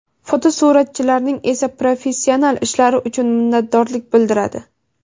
fotosuratchilarning esa professional ishlari uchun minnatdorlik bildiradi.